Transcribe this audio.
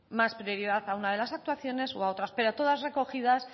más prioridad a una de las actuaciones o a otras pero todas recogidas